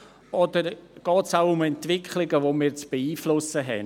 Oder geht es auch um Entwicklungen, die wir beeinflussen müssen?